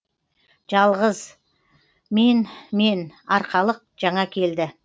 жалғыз мен мен арқалық жаңа келді